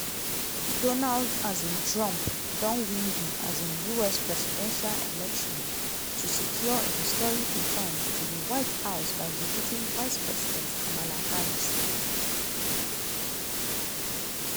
donald um trump don win di um us presidential election to secure a historic return to di white house by defeating vice president kamala harris.